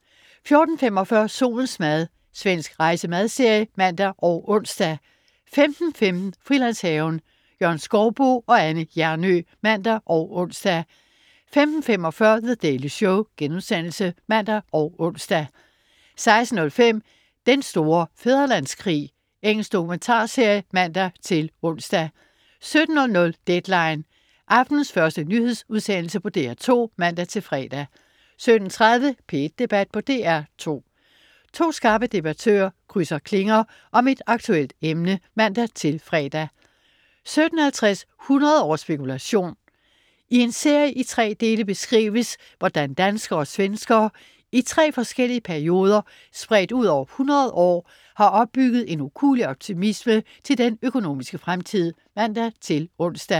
14.45 Solens mad. Svensk rejse-/madserie (man og ons) 15.15 Frilandshaven. Jørgen Skouboe og Anne Hjernøe (man og ons) 15.45 The Daily Show* (man og ons) 16.05 Den store fædrelandskrig. Engelsk dokumentarserie (man-ons) 17.00 Deadline 17.00. Aftenens første nyhedsudsendelse på DR2 (man-fre) 17.30 P1 Debat på DR2. To skarpe debattører krydse klinger om et aktuelt emne (man-fre) 17.50 100 års spekulation. I en serie i tre dele beskrives, hvordan danskere og svenskere i tre forskellige perioder spredt ud over 100 år har opbygget en ukuelig optimisme til den økonomiske fremtid (man-ons)